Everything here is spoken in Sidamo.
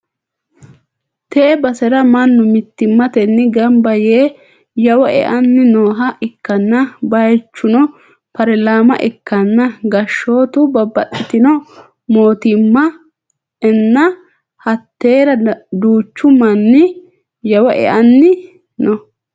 tee basera mannu mittimmatenni gamba yee yawo e'anni nooha ikkanna, bayichuno parilama ikkanna gashshootu babbaxxitino mootimma enna hattera duuchu manni yawo e'anni no.